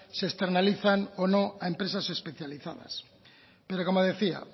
se externalizan o no a empresas especializadas pero como decía